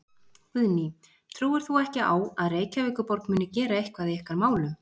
Guðný: Trúir þú ekki á að Reykjavíkurborg muni gera eitthvað í ykkar málum?